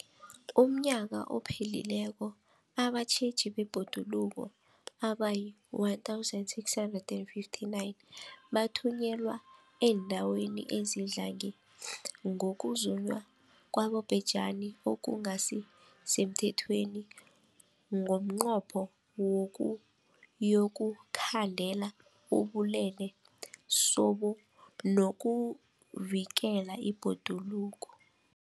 UmNnyaka ophelileko abatjheji bebhoduluko abayi-1 659 bathunyelwa eendaweni ezidlange ngokuzunywa kwabobhejani okungasi semthethweni ngomnqopho wokuyokukhandela ubulelesobu nokuvikela ibhoduluko.